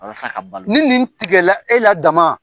Ni nin tigɛla e la dama